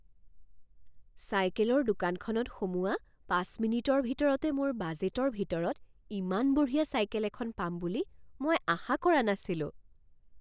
চাইকেলৰ দোকানখনত সোমোৱা পাঁচ মিনিটৰ ভিতৰতে মোৰ বাজেটৰ ভিতৰত ইমান বঢ়িয়া চাইকেল এখন পাম বুলি মই আশা কৰা নাছিলোঁ।